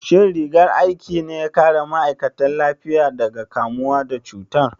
Shin rigar aikin ne ya kare ma'aikatan lafiyar daga kamuwa da cutar?